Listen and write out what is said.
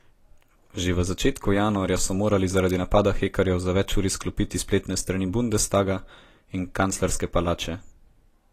Že v začetku januarja so morali zaradi napada hekerjev za več ur izklopiti spletne strani bundestaga in kanclerske palače.